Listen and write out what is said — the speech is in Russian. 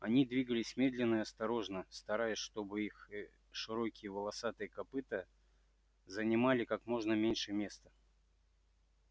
они двигались медленно и осторожно стараясь чтобы их широкие волосатые копыта занимали как можно меньше места